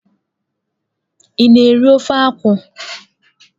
Ị na-eri ofe akwụ?